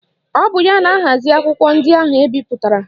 Ọ bụ ya na-ahazi akwụkwọ ndị ahụ ebipụtara